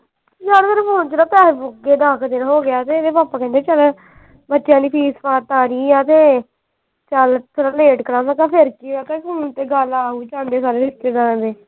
ਮੇਰੇ phone ਚ ਨਾ ਪੈਸੇ ਮੁੱਕ ਗਏ ਆ ਦੱਸ ਕੁ ਦਿਨ ਹੋਗਏ ਆ ਤੇ ਇਹਦੇ papa ਕਹਿੰਦੇ ਬੱਚਿਆਂ ਦੀ fees ਫਾਸ ਤਾਰੀ ਆ ਤੇ ਚਲ ਥੋੜਾ late ਕਰਾਂਗਾ ਤੇ ਫੇਰ ਕੀ ਆ ਤੇ ਹੁਣ ਤੇ ਚਲ ਆ ਵੀ ਜਾਂਦੇ ਸਾਰੇ ਰਿਸ਼ਤੇਦਾਰਾਂ ਦੇ।